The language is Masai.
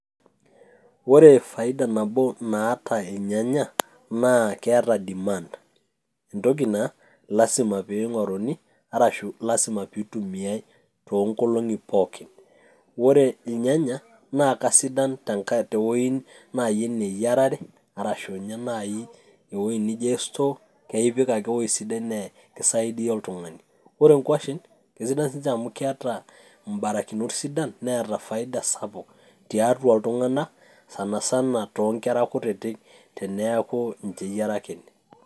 Ore faida nabo naata irnyanya, naa keeta demand. Entoki naa lasima pe ing'oruni, arashu lasima pitumiai toonkolong'i pookin. Ore irnyanya, naa kasidan tewoi nai enaa eyiarare, arashu nye nai ewoi nijo store ,ipik ake ewoi sidai na kisaidia oltung'ani. Ore nkwashen, kesidan sinche amu keeta mbarakinot sidan neeta faida sapuk tiatua iltung'anak, sanasan tonkera kutitik teneeku ninche eyiarakini.